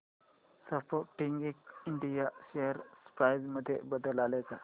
Sportking India share price मध्ये बदल आलाय का